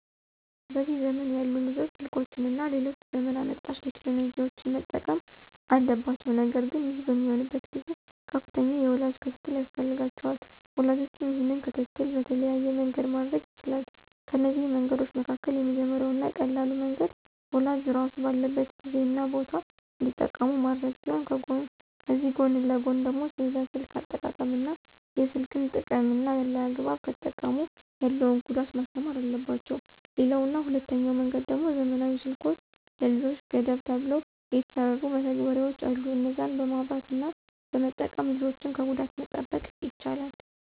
በዚህ ዘመን ያሉ ልጆች ስልኮችን እና ሌሎች ዘመን አመጣሽ ቴክኖሎጂዎችን መጠቀም አለባቸው ነገር ግን ይህ በሚሆንበት ጊዜ ከፍተኛ የወላጅ ክትትል ያስፈልጋቸዋል። ወላጅም ይህንን ክትትል በተለያየ መንገድ ማድረግ ይችላል፤ ከነዚህ መንገዶች መካከል የመጀመሪያው እና ቀላሉ መንገድ ወላጅ ራሱ ባለበት ጊዜ እና ቦታ እንዲጠቀሙ ማድረግ ሲሆን ከዚህ ጎን ለጎን ደግሞ ስለ ስልክ አጠቃቀም እና የስልክን ጥቅምና አላግባብ ከተጠቀሙ ያለውን ጉዳት ማስተማር አለባቸው። ሌላው እና ሁለተኛው መንገድ ደሞ ዘመናዊ ስልኮች ለልጆች ገደብ ተብለው የተሰሩ መተግበሪያዎች አሉ እነዛን በማብራት እና በመጠቀም ልጆችን ከጉዳት መጠበቅ ይቻላል።